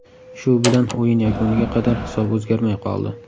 Shu bilan o‘yin yakuniga qadar hisob o‘zgarmay qoldi.